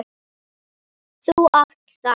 Þú átt það.